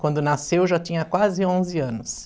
Quando nasceu, eu já tinha quase onze anos.